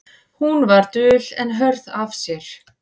Hún var dul en hörð af sér.